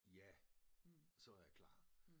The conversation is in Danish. Ja så var jeg klar